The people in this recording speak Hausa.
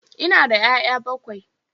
Ina da 'ya'ya bakwai